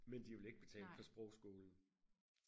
men de vil ikke betale for sprogskolen